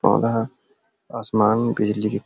पौधा असमान बिजली के --